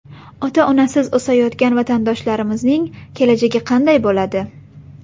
ota-onasiz o‘sayotgan vatandoshlarimizning kelajagi qanday bo‘ladi?